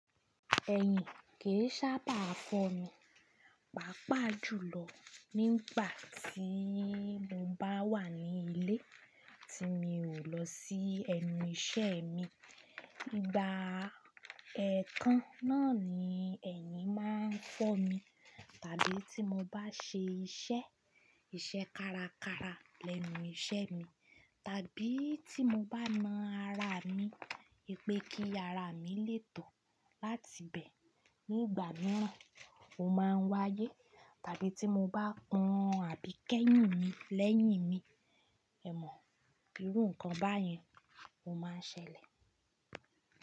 Ẹ̀yin kì í sábà fọ́ mi, pàápàá jùlọ nígbà tí mo bá wà ní ilé tí mi ò lọ sí ẹnu iṣẹ́ mi. Igba ẹ̀ẹ̀kan náà ni ẹ̀yin má a ń fọ́ mi. Tàbí tí mo bá ṣe iṣẹ́, iṣẹ́ kárakára lẹ́nu iṣẹ́ mi, tàbí tí mo bá na ara mi, ipé kí ara mi lè tọ̀ láti bẹ̀ nígbà mìíràn, o má a ń wáyé. Tàbí tí mo bá pọn àbí kẹ́yìn mi lẹ́yìn mi, ẹ̀ mọ̀, irú nǹkan báyẹn o má a ń ṣẹlẹ̀.